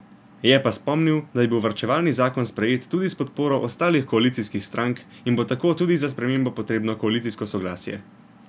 Je pa spomnil, da je bil varčevalni zakon sprejet, tudi s podporo ostalih koalicijskih strank in bo tako tudi za spremembo potrebno koalicijsko soglasje.